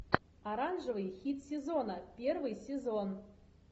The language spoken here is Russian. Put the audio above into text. оранжевый хит сезона первый сезон